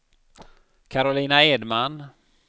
Karolina Edman